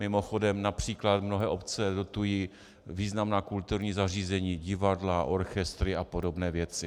Mimochodem například mnohé obce dotují významná kulturní zařízení, divadla, orchestry a podobné věci.